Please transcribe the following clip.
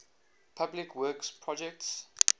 public works projects